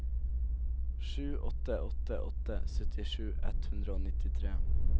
sju åtte åtte åtte syttisju ett hundre og nittitre